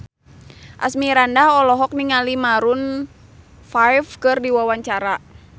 Asmirandah olohok ningali Maroon 5 keur diwawancara